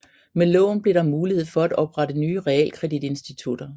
Med loven blev der mulighed for at oprette nye realkreditinstitutter